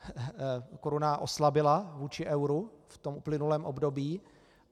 Koruna oslabila vůči euru v tom uplynulém období.